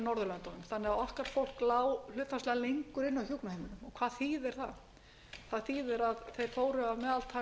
norðurlöndunum þannig að okkar fólk lá hlutfallslega lengur inni á hjúkrunarheimilum það þýðir að þeir fóru að meðaltali eða